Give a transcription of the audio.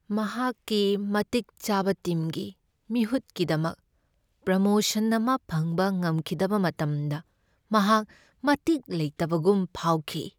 ꯃꯍꯥꯛꯀꯤ ꯃꯇꯤꯛ ꯆꯥꯕ ꯇꯤꯝꯒꯤ ꯃꯤꯍꯨꯠꯀꯤꯗꯃꯛ ꯄ꯭ꯔꯃꯣꯁꯟ ꯑꯃ ꯐꯪꯕ ꯉꯝꯈꯤꯗꯕ ꯃꯇꯝꯗ ꯃꯍꯥꯛ ꯃꯇꯤꯛ ꯂꯩꯇꯕꯒꯨꯝ ꯐꯥꯎꯈꯤ꯫